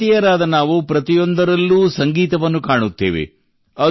ಭಾರತೀಯರಾದ ನಾವು ಪ್ರತಿಯೊಂದರಲ್ಲೂ ಸಂಗೀತವನ್ನು ಕಾಣುತ್ತೇವೆ